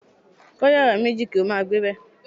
Kó̩ yàrá méjì kí ó máa gbébè̩.